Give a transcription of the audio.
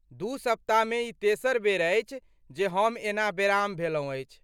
दू सप्ताहमे ई तेसर बेर अछि जे हम एना बेराम भेलहुँ अछि।